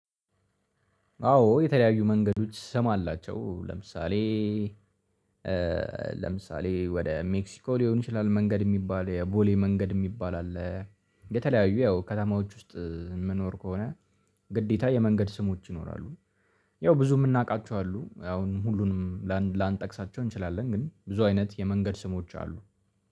አዎ የተለያዩ መንገዶች ስም አላቸው ለምሳሌ ለምሳሌ ወደ ሜክሲኮ ሊሆን ይችላል መንገድ የሚባል የቦሌ መንገድ የሚባል አለ። የተለያዩ ያው ከተማዎች ውስጥ የምኖር ከሆነ ግዴታ የመንገድ ስሞች ይኖራሉ። ያው ብዙ የምናውቃቸው አሉ አሁን ሁሉንም ላንጠቅሳቸው እንችላለን ግን ብዙ አይነት የመንገድ ስሞች አሉ።